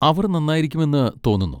അവർ നന്നായിരിക്കുമെന്ന് തോന്നുന്നു.